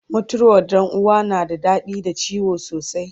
mutuwar Ɗan uwa na da raɗaɗi da ciwo sosai